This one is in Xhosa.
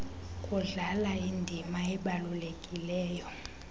kudlala indima ebalulekileyo